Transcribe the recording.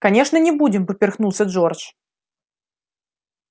конечно не будем поперхнулся джордж